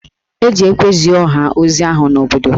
E ji ekwe zie ọha ozi ahụ n'obodo